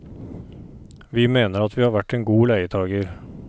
Vi mener at vi har vært en god leietager.